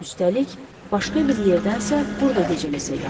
Üstəlik, başqa bir yerdənsə burda gecələsək yaxşıdır.